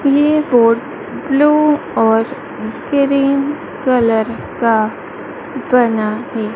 ये boat blue और green colour का बना है।